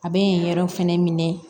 A bɛ yen yɔrɔ fɛnɛ minɛ